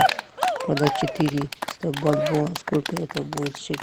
продать четыреста бальбоа сколько это будет шекелей